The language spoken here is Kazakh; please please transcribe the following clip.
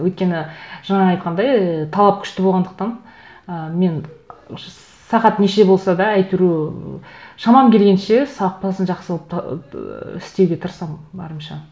өйткені жаңа айтқандай талап күшті болғандықтан ы мен сағат неше болса да әйтеуір шамам келгенше сапасын жақсы қылып ыыы істеуге тырысамын барымша